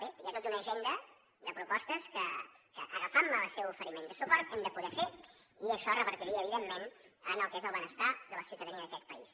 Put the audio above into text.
bé i hi ha tota una agenda de propostes que agafant el seu oferiment de suport hem de poder fer i això revertirà evidentment en el que és el benestar de la ciutadania d’aquest país